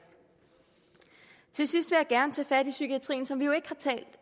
til sidst vil jeg gerne tage fat i psykiatrien som vi jo ikke